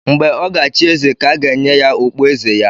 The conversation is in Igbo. Mgbe ọ ga-achị eze ka a ga-enye ya okpu eze ya